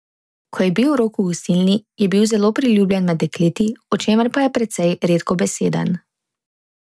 Ko je bil Rok v Gostilni, je bil zelo priljubljen med dekleti, o čemer pa je precej redkobeseden.